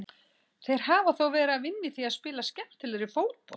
Þeir hafa þó verið að vinna í því að spila skemmtilegri fótbolta.